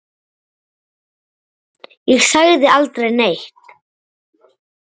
Ég sagði aldrei neitt.